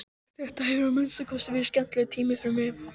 Þetta hefur að minnsta kosti verið skemmtilegur tími fyrir mig.